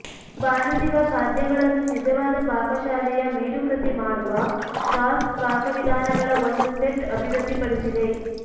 ಬಾಣಸಿಗ ಖಾದ್ಯಗಳನ್ನು ನಿಜವಾದ ಪಾಕಶಾಲೆಯ ಮೇರುಕೃತಿ ಮಾಡುವ ಸಾಸ್ ಪಾಕವಿಧಾನಗಳ ಒಂದು ಸೆಟ್ ಅಭಿವೃದ್ಧಿಪಡಿಸಿದೆ